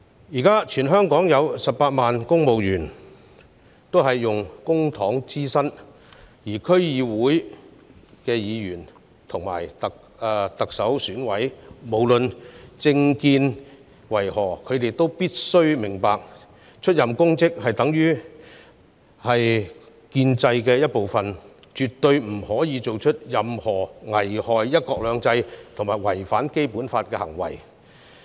現時，全港有18萬名公務員以公帑支薪，而區議會議員及行政長官選舉委員會委員，無論他們的政見為何，也必須明白到出任公職，屬於建制的一部分，絕對不許作出任何危害"一國兩制"及違反《基本法》的行為。